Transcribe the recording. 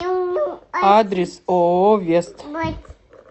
адрес ооо вест